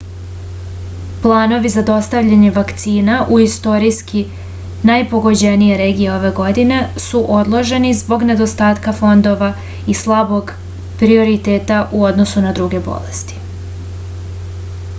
planovi za dostavljanje vakcina u istorijski najpogođenije regije ove godine su odloženi zbog nedostatka fondova i slabog prioriteta u odnosu na druge bolesti